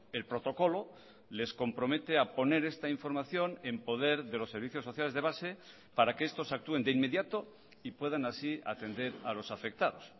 el protocolo les compromete a poner esta información en poder de los servicios sociales de base para que estos actúen de inmediato y puedan así atender a los afectados